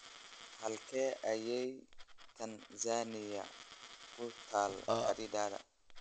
Halkee ayay Tansaaniya ku taal khariidada?